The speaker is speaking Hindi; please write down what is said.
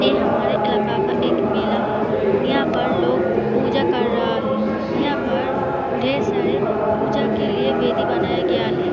ए हमारे इलाके का एक मेला है यहाँ पर लोग पूजा कर रहा है यहाँ पर ढेर सारे पूजा के लिए वेदी बनाया गया है।